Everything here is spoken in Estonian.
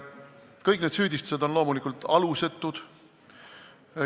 Kõik need süüdistused on loomulikult alusetud.